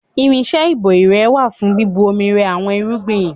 Irinṣẹ́ ìbò irẹ wà fún bíbu omi rẹ àwọn irúgbìn.